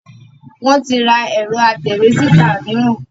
Wọn tí ra ẹ̀rọ atẹ̀wé-síta mìíràn